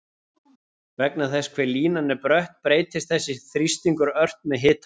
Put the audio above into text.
Vegna þess hve línan er brött breytist þessi þrýstingur ört með hitanum.